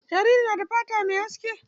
Jaririn fata ne mai haske.